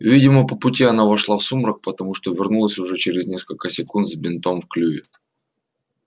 видимо по пути она вошла в сумрак потому что вернулась уже через несколько секунд с бинтом в клюве